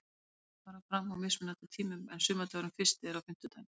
Leikirnir fara fram á mismunandi tímum en sumardagurinn fyrsti er á fimmtudaginn.